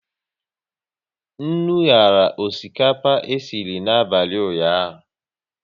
Nnu nyara osikapa esiri n'abalị ụnyaahụ